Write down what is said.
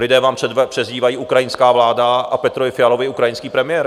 Lidé vám přezdívají "ukrajinská vláda" a Petrovi Fialovi "ukrajinský premiér".